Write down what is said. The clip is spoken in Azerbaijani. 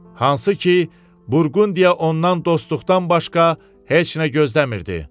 Hansı ki, Burqundiya ondan dostluqdan başqa heç nə gözləmirdi.